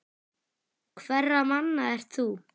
Hverra manna ert þú?